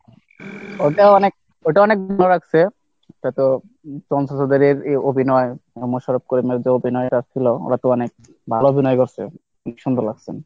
ওটা অনেক ওটা অনেক ভালো লাগছে, এটা তো অভিনয় ছিল ওরা তো অনেক ভালো অভিনয় করছে, খুব সুন্দর লাগছে।